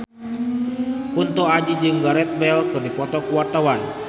Kunto Aji jeung Gareth Bale keur dipoto ku wartawan